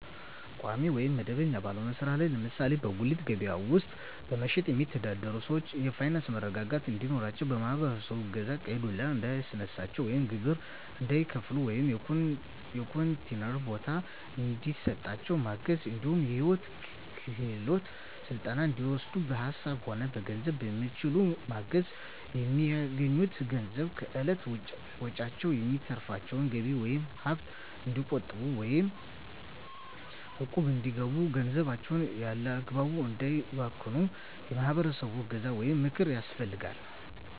ቋሚ ወይም መደበኛ ባልሆነ ስራ ላይ ለምሳሌ በጉሌት ከበያ ውስጥ በመሸትጥ የሚተዳደሩትን ሰዎች የፋይናንስ መረጋጋት እንዲኖራቸው የማህበረሰቡ እገዛ ቀይ ዱላ እንዳያስነሳቸው ወይም ግብር እንዳይከፍሉ ወይም የኮንቲነር ቦታ እንዲሰጣቸው ማገዝ እንዲሁም የሂወት ክሄሎት ስልጠና እንዲወስዱ በሀሳብም ሆነ በገንዘብ በሚችሉት ማገዝ፣ በሚያገኙት ገንዘብ ከእለት ወጭዎች የሚተርፋቸውን ገቢ ወይም ሀብት እንዲቆጥቡ ወይም እቁብ እንዲገቡ ገንዘባቸውን ያላግባብ እንዳያባክኑ የማህበረሰቡ እገዛ ወይም ምክር ያስፈልጋል።